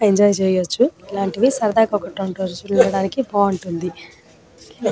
Enjoy చేయొచ్చు ఇలాంటివి సరదాగా ఒక రెండు రోజులు ఉండడానికి బాగుంది.